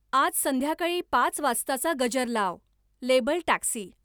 आज संध्याकाळी पाच वाजताचा गजर लाव. Labelled taxi